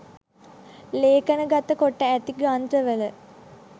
ලේඛනගත කොට ඇති ග්‍රන්ථවල